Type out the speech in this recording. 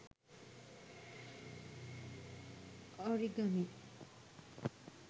origami